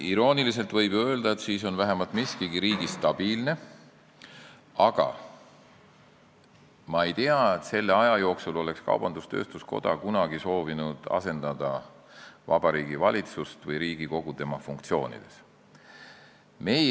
Irooniliselt võib ju öelda, et siis on vähemalt miskigi riigis stabiilne, aga ma ei tea, et selle aja jooksul oleks kaubandus-tööstuskoda soovinud Vabariigi Valitsust või Riigikogu tema funktsioonides asendada.